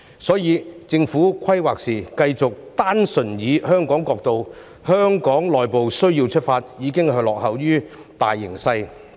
因此，政府在規劃時繼續單純從香港角度及內部需要出發，已是落後於大形勢。